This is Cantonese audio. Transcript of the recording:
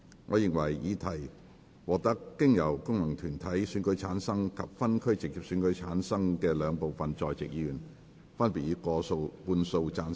我認為議題獲得經由功能團體選舉產生及分區直接選舉產生的兩部分在席議員，分別以過半數贊成。